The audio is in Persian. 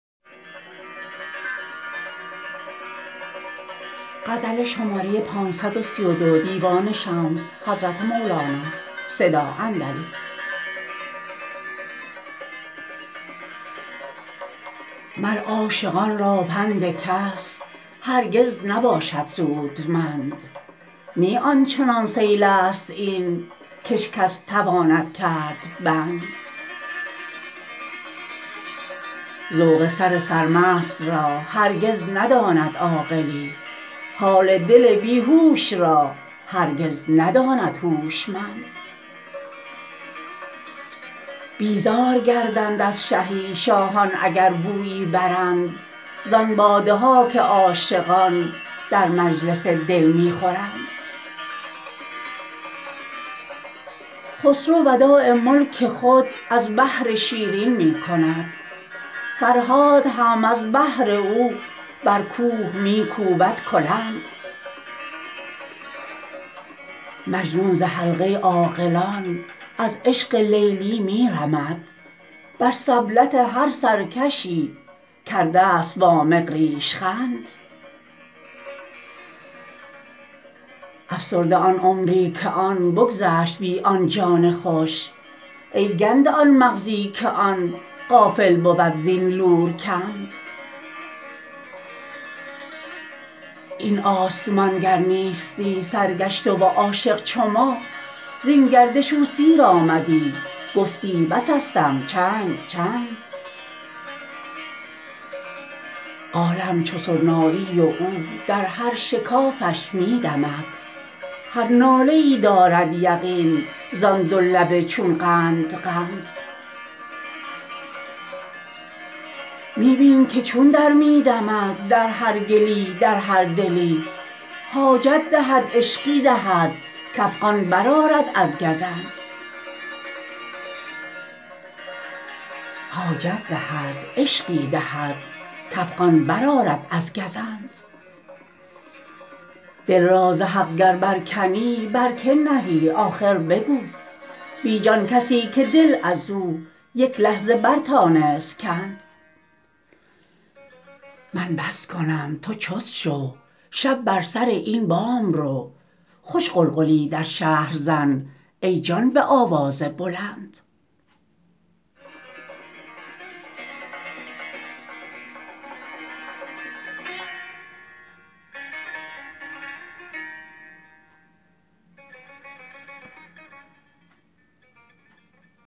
مر عاشقان را پند کس هرگز نباشد سودمند نی آن چنان سیلیست این کش کس تواند کرد بند ذوق سر سرمست را هرگز نداند عاقلی حال دل بی هوش را هرگز نداند هوشمند بیزار گردند از شهی شاهان اگر بویی برند زان باده ها که عاشقان در مجلس دل می خورند خسرو وداع ملک خود از بهر شیرین می کند فرهاد هم از بهر او بر کوه می کوبد کلند مجنون ز حلقه عاقلان از عشق لیلی می رمد بر سبلت هر سرکشی کردست وامق ریش خند افسرده آن عمری که آن بگذشت بی آن جان خوش ای گنده آن مغزی که آن غافل بود زین لورکند این آسمان گر نیستی سرگشته و عاشق چو ما زین گردش او سیر آمدی گفتی بسستم چند چند عالم چو سرنایی و او در هر شکافش می دمد هر ناله ای دارد یقین زان دو لب چون قند قند می بین که چون در می دمد در هر گلی در هر دلی حاجت دهد عشقی دهد کافغان برآرد از گزند دل را ز حق گر برکنی بر کی نهی آخر بگو بی جان کسی که دل از او یک لحظه برتانست کند من بس کنم تو چست شو شب بر سر این بام رو خوش غلغلی در شهر زن ای جان به آواز بلند